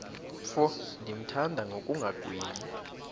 mfo ndimthanda ngokungagwebi